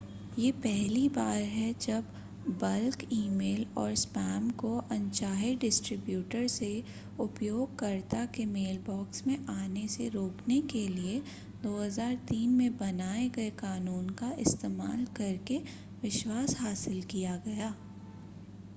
यह पहली बार है जब बल्क ई-मेल और स्पैम को अनचाहे डिस्ट्रिब्यूटर से उपयोगकर्ता के मेलबॉक्स में आने से रोकने के लिए 2003 में बनाए गए कानून का इस्तेमाल करके विश्वास हासिल किया गया